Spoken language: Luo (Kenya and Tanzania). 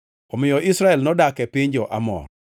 Omiyo Israel nodak e piny jo-Amor.